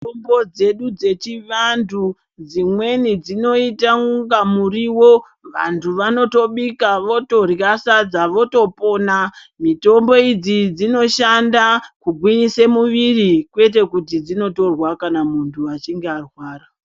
Mutombo dzedu dzechivantu dzimweni dzinoita kunga muriwo vantu vanotobika votorya sadza votopona. Mitombo idzi dzinoshanda kugwinyise muviri kwete kuti dzinotorwa kana muntu achinge arwara.